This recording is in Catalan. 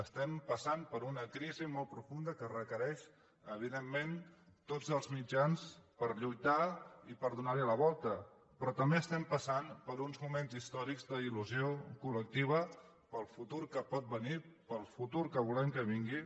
estem passant per una crisi molt profunda que requereix evidentment tots els mitjans per lluitar i per donar hi la volta però també estem passant per uns moments històrics d’il·col·lectiva per al futur que pot venir per al futur que volem que vingui